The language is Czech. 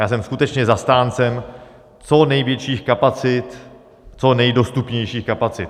Já jsem skutečně zastáncem co největších kapacit, co nejdostupnějších kapacit.